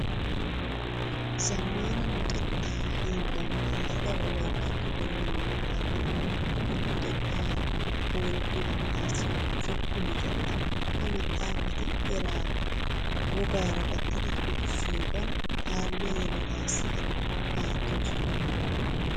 Zammaana luxettaa hiillan giigida wolayttatto doonaa maxaafati luxettaa boolumatettaassi zokko meqetta. Ha maxaafati eraa wogaara gattidi luxissiyogan kaalliya yeletaassi aattoosona.